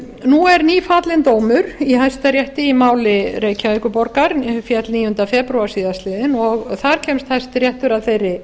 nú er nýfallinn dómur í hæstarétti í máli reykjavíkurborgar féll níundi febrúar síðastliðinn og þar kemst hæstiréttur að þeirri